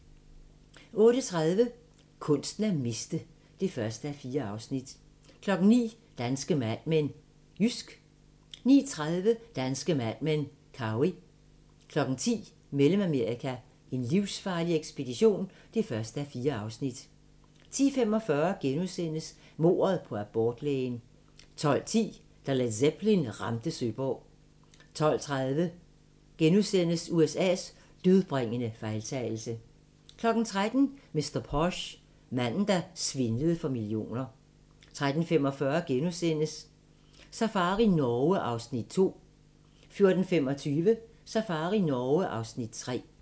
08:30: Kunsten at miste (1:4) 09:00: Danske Mad Men: Jysk 09:30: Danske Mad Men: Cowey 10:00: Mellemamerika: en livsfarlig ekspedition (1:4) 10:45: Mordet på abortlægen * 12:10: Da Led Zeppelin ramte Søborg 12:30: USA's dødbringende fejltagelse * 13:00: Mr. Posh: Manden, der svindlede for millioner 13:45: Safari Norge (Afs. 2)* 14:25: Safari Norge (Afs. 3)